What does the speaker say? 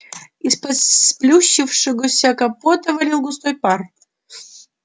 из-под сплющившегося капота валил густой пар